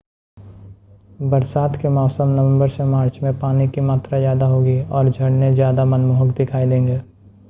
बरसात के मौसम नवंबर से मार्च में पानी की मात्रा ज़्यादा होगी और झरने ज़्यादा मनमोहक दिखाई देंगे